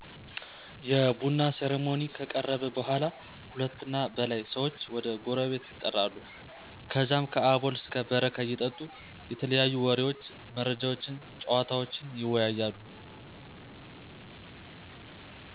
የቡና ሰርሞኒ ከቀረበ በኃላ ሁለት እና በላይ ሰዎች ወይም ጎረቤት የጠራሉ ከዛ ከአቦል እስከ በረካ እየጠጡ የተለያዩ ወሬዎች፣ መረጃዎችነ፣ ጨዋታወችን ይወያያሉ